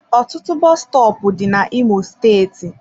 Ọtụtụ bọs stọọpu dị na imo steeti.